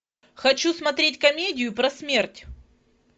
хочу смотреть комедию про смерть